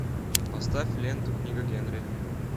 поставь ленту книга генри